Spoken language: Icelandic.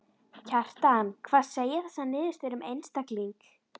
Kjartan: Hvað segja þessar niðurstöður um einstakling?